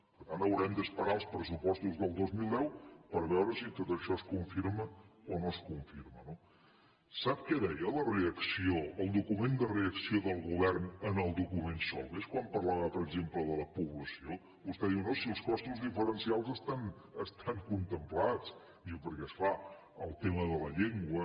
per tant haurem d’esperar els pressupostos del dos mil deu per veure si tot això es confirma o no es confirma no sap què deia la reacció el document de reacció del govern en el document solbes quan parlava per exemple de la població vostè diu no si els costos diferencials estan contemplats diu perquè és clar el tema de la llengua